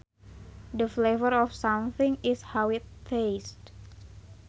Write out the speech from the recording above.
The flavor of something is how it tastes